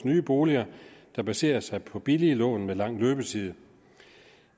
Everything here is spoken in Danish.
nye boliger der baserer sig på billige lån med lang løbetid